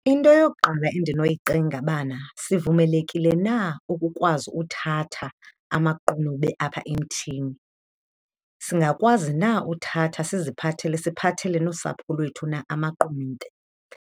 Into yokuqala endinoyicinga bana, sivumelekile na ukukwazi uthatha amaqunube apha emthini? Singakwazi na uthatha siziphathele, siphathele nosapho lwethu na amaqunube?